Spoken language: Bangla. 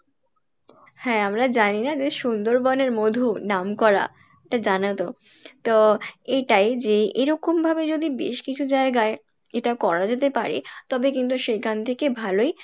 হ্যাঁ আমরা জানিনা যে সুন্দরবনের মধু নাম করা এটা তো এটাই যে এরকম ভাবে যদি বেশ কিছু জায়গায় এটা করা যেতে পারে তবে কিন্তু সেইখান থেকে ভালোই লাভ পাওয়া যেতে পারে,